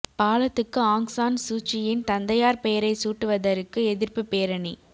பாலத்துக்கு Aung San சூச்சியின் தந்தையார் பெயரைச் சூட்டுவதற்கு எதிர்ப்புப் பேரணி